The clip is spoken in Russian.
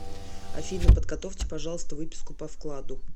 афина подготовьте пожалуйста выписку по вкладу